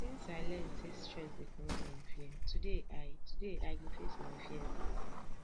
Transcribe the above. since i learn sey strength dey come from fear today i today i go face my fears